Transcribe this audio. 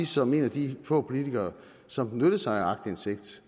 som en af de få politikere som benytter sig af aktindsigt